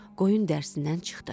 Qurd qoyun dərsindən çıxdı.